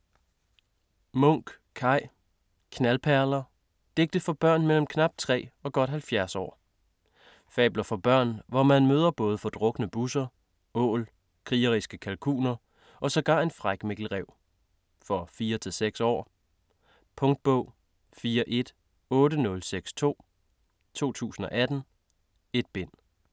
Munk, Kaj: Knaldperler: digte for Børn mellem knap 3 og godt 70 Aar Fabler for børn, hvor man møder både fordrukne busser, ål, krigeriske kalkuner og sågar en fræk Mikkel Ræv. For 4-6 år. Punktbog 418062 2018. 1 bind.